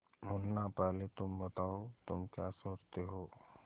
मुन्ना पहले तुम बताओ तुम क्या सोचते हो